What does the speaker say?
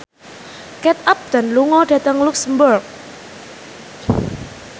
Kate Upton lunga dhateng luxemburg